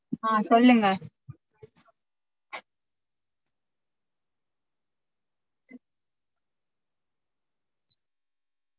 ஆஹ் சொல்லுங்க